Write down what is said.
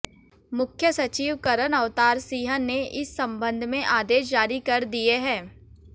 मुख्य सचिव करन अवतार सिंह ने इस संबंध में आदेश जारी कर दिए हैं